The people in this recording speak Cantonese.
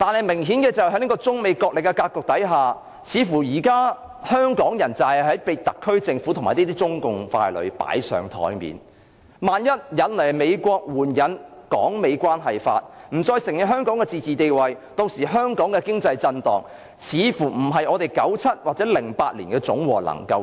明顯地，在中美角力的格局下，香港人似乎被特區政府和中共傀儡擺上檯面，萬一引來美國援引《香港關係法》，不再承認香港的自治地位，造成的經濟震盪恐怕會超過1997年及2008年的總和。